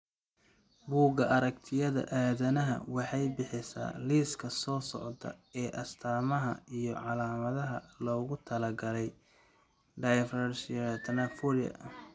Bugga Aaragtiyaha aadanaha waxay bixisaa liiska soo socda ee astamaha iyo calaamadaha loogu talagalay dysplasia Thanatophorika.